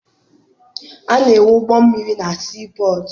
A na-enwe ụgbọmmiri na sii pọtụ.